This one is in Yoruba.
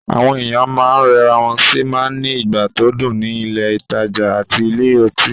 Àwọn èèyàn máa n rẹra wọ́n sì máa n ní ìgbà tó dùn ní ilé-ìtánjẹ àti ilé ọtí